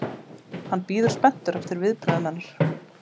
Hann bíður spenntur eftir viðbrögðum hennar.